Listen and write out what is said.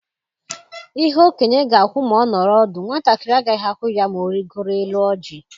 Ihe okenye ga-ahụ ma ọ nọrọ ọdụ, nwatakịrị agaghị ahụ ya ma ọ rịgooro élú ọjị.